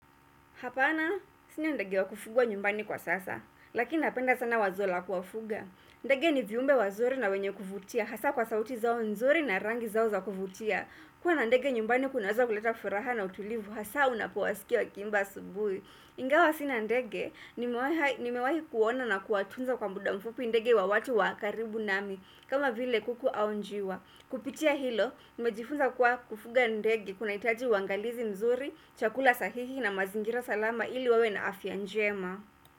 Hapana, sinia ndege wa kufugwa nyumbani kwa sasa, lakini napenda sana wazola kuwafuga. Ndege ni viumbe wazuri na wenye kufutia, hasa kwa sauti zao nzori na rangi zao za kufutia. Kwa na ndege nyumbani kuna waza kuleta furaha na utulivu, hasa unapuwasikia wakimba subui. Ingawa sinia ndege, nimewahi kuona na kuatunza kwa muda mfupu ndege wa watu wakaribu nami, kama vile kuku au njiwa. Kupitia hilo, nimejifunza kwa kufuga ndege kuna itaji wangalizi mzuri, chakula sahihi na mazingira salama ili wawena afia njema.